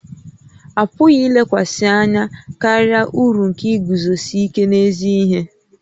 A pụghị ilekwasị anya karịa uru nke iguzosi ike n'ezi ihe